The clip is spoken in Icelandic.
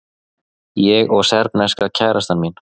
Ég og serbneska kærastan mín.